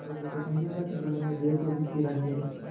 अलगू को संदेह हुआ कि जुम्मन ने बैल को विष दिला दिया है